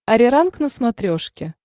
ариранг на смотрешке